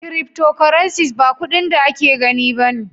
" cryptocurrencies " ba kudin da ake gani ne ba.